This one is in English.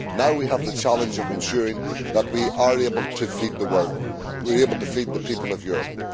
Now we have the challenge of ensuring that we are able to feed the world, able to feed the people of Europe.